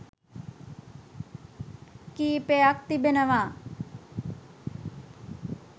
කීපයක් තිබෙනවා.